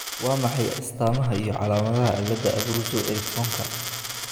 Waa maxay astamaha iyo calaamadaha cilada Abruzzo Ericksonka?